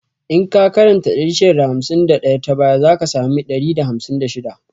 In ka karanta 651 ta baya, za ka sami 156